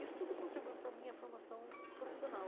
Isso tudo contribuiu para a minha formação profissional.